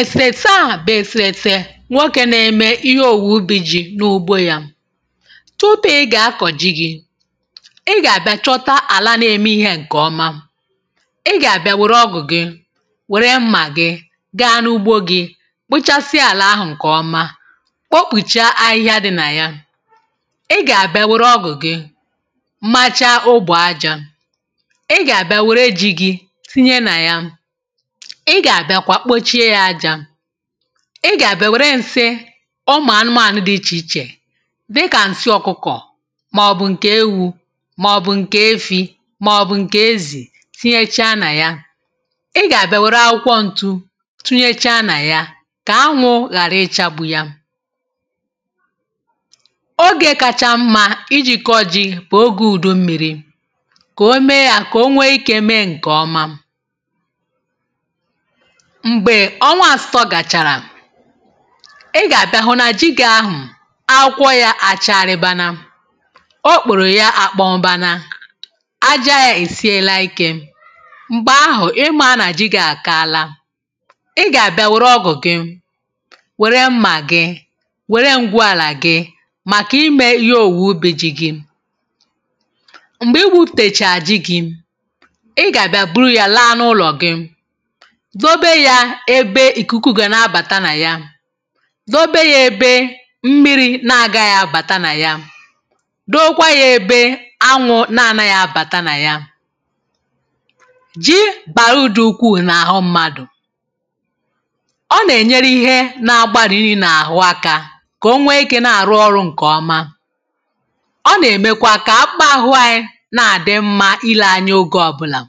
Èsèèsè,.. ahà bụ̀ Èsèèsè,.. nwoké n’eme ihe òwùwè ubí ji̇ n’ugbo ya. Tupu ị gà-akọ̀ ji gị, ị gà-àbịa chọta àlà, n’eme ihe nke ọma. Ị gà-àbịa wèrè ọgụ̀ gị, wèrè mmà gị, gaa n’ugbo gị̇, kpochasià àlà ahụ̀ nke ọma, kpọkpùchaa ahịhịa dị nà ya. Ị gà-àbịa wèrè ọgụ̀ gị, machaa ugbo ajá. um Ị gà-àbịa wèrè eji̇ gị̇ tinye nà ya. Ị gà-àbịa kwa, kpochie ya ajá. Ị gà-àbịa wèrè ǹse ụmụ̀ anụmanụ̀ dị iche iche dị kà ǹsị ọ̀kụkọ̀, maọ̀bụ̀ nke ewu̇, maọ̀bụ̀ nke efi̇, maọ̀bụ̀ nke ezì tinyechaa nà ya. Ị gà-àbịa wèrè akwụkwọ ǹtụ tinyechaa nà ya, kà anwụ ghàrà ịchagbu ya. Oge kacha mma ijíke oji̇ bụ̀ oge ùdò mmiri, um kà o mee ya, kà o nwee ike mee nke ọma. Mgbe ọnwa àsụtọ gachàrà, ị gà-àbịa hụ na ji gị̇ ahụ̀ akwò ya. Àchárịbana o, kpụ̀rọ ya, àkpọmmana aja ya èsiela ike... Mgbe ahụ̀, ime a nà-ajìgà àkàala. Ị gà-àbịa wèrè ọgụ̀ gị, wèrè mmà gị, wèrè m̀gwèàlà gị, um màkà ime ihe òwùwè ubi ji gị. Mgbe i gbutechàra ji gị, ị gà-àbịa buru ya laa n’ụlọ̀ gị, zobe ya ebe ikuku gị na-abata nà ya. Dobe ya ebe mmiri na-agaghị abata nà ya, dokwa ya ebe anwụ na-ana nà ya, kà ji bàrùdụ ukwu n’àhụ mmadụ̀. Ọ nà-ènyere ihe n’ahụ̀ agbàrị niile, kà o nwee ike n’ịrụ ọrụ nke ọma. Ọ nà-èmekwa kà akpa ahụ̇ anyị na-àdị mma. um Ìle anyị, oge ọbụla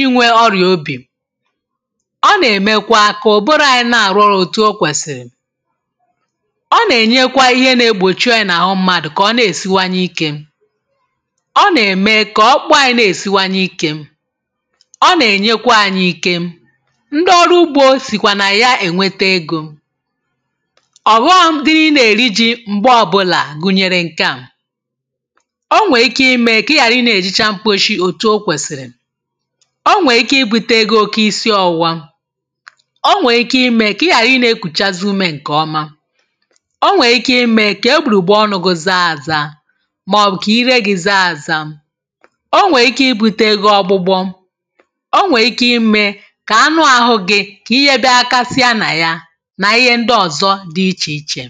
inwè ọrịa obi, ọ nà-èmekwa kà ụbọrụ anyị nà-àrụrụ̇ otu o kwèsìrì. Ọ nà-ènyekwa ihe na-egbòchi o yà n’àhụ mmadụ̀, kà ọ na-èsiwanye ike. Ọ nà-ème kà ọkpụ̀ anyị na-èsiwanye ike, ọ nà-ènyekwa ànyị ike. Ndị ọrụ ugbo sìkwà na ya,.. ènwètè ego ọ̀bụrụ̀ dị n’ịnà-èriji. Mgbe ọbụla, gụnyere nke a, o nwè ike ime kà ị ghàrị. Ị nà-èjịcha mkposhi, otu o kwèsìrì. O nwe ike ibùte gị oke isiọwụwa, o nwe ike ime kà ị ghàrà ị na-ekùchàzi ume nke ọma. O nwe ike ime kà egbugbù ọnụ̇ gị zaa àza, maọ̀bụ̀ kà ire gị zaa àza. O nwe ike ibùte gị ọgbụgbọ, o nwe ike ime kà anụ̀ ahụ gị kà ihe be ha, kasị ànyị nà ya, nà ihe ndị ọzọ dị iche iche.